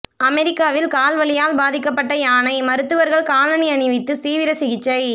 அமெரிக்காவில் கால் வலியால் பாதிக்கப்பட்ட யானை மருத்துவர்கள் காலணி அணிவித்து தீவிர சிகிச்சை